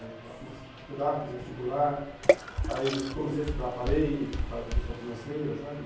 É então, comecei, fui lá, fiz vestibular, aí comecei a estudar, parei por causa da questão financeira, sabe?